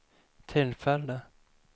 tillfälle